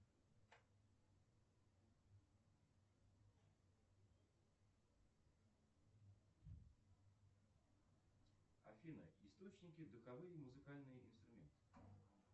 афина источники духовые музыкальные инструменты